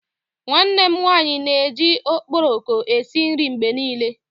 Nwanne m nwanyi n'eji okporoko esi nri mgbe nile